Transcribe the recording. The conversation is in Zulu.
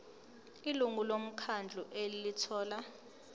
ilungu lomkhandlu elithola